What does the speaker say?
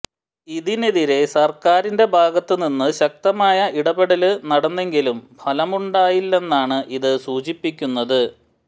ഇതിനെതിരെ സര്ക്കാരിന്റെ ഭാഗത്തുനിന്ന് ശക്തമായ ഇടപെടല് നടന്നെങ്കിലും ഫലമുണ്ടായില്ലെന്നാണ് ഇത് സൂചിപ്പിക്കുന്നത്